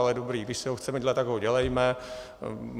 Ale dobrá, když si ho chceme dělat, tak ho dělejme.